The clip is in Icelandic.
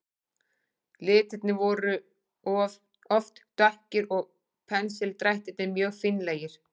Litirnir voru oft dökkir og pensildrættirnir mjög fínlegir.